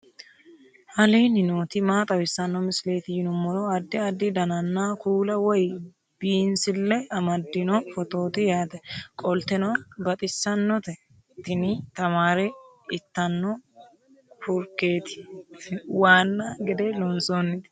aleenni nooti maa xawisanno misileeti yinummoro addi addi dananna kuula woy biinsille amaddino footooti yaate qoltenno baxissannote tini tamaare ittanno kurkeeti waanna gede loosantinoti